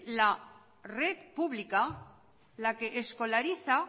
la red pública la que escolariza